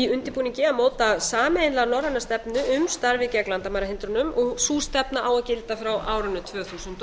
í undirbúningi að móta sameiginlega norræna stefnu um starfið gegn landamærahindrunum sú stefna á að gilda frá árinu tvö þúsund og